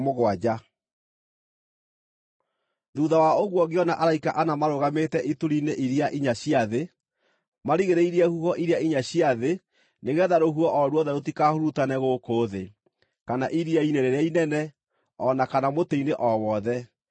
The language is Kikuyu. Thuutha wa ũguo ngĩona araika ana marũgamĩte ituri-inĩ iria inya cia thĩ, marigĩrĩirie huho iria inya cia thĩ nĩgeetha rũhuho o ruothe rũtikahurutane gũkũ thĩ, kana iria-inĩ rĩrĩa inene, o na kana mũtĩ-inĩ o wothe.